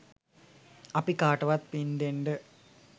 අපි කාටවත් පින් දෙන්ඩ